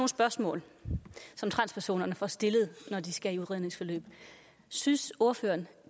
spørgsmål som transpersoner får stillet når de skal i udredningsforløb synes ordføreren